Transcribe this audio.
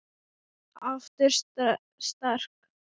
Aftur sterk.